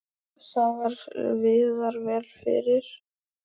Það viðrar vel fyrir